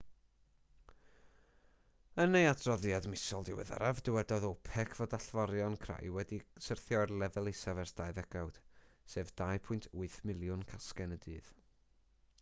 yn ei adroddiad misol diweddaraf dywedodd opec fod allforion crai wedi syrthio i'w lefel isaf ers dau ddegawd sef 2.8 miliwn casgen y dydd